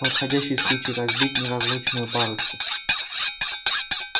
подходящий случай разбить неразлучную парочку